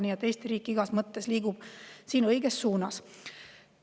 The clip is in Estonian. Nii et Eesti riik igas mõttes liigub õiges suunas.